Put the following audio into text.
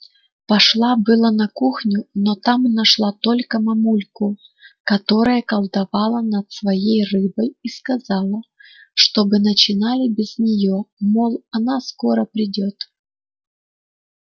пошла было на кухню но там нашла только мамульку которая колдовала над своей рыбой и сказала чтобы начинали без нее мол она скоро придёт